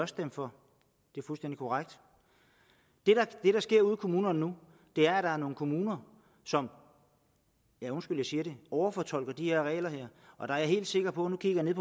stemt for det er fuldstændig korrekt det der sker ude i kommunerne nu er at der er nogle kommuner som ja undskyld jeg siger det overfortolker de her regler og der er jeg helt sikker på og nu kigger jeg